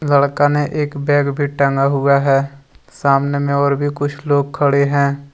लड़का ने एक बैग भी टंगा हुआ है सामने में और भी कुछ लोग खड़े हैं।